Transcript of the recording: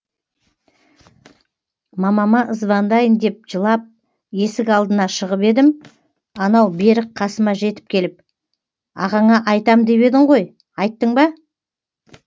мамама звондайын деп жылап есік алдына шығып едім анау берік қасыма жетіп келіп ағаңа айтам деп едің ғой айттың ба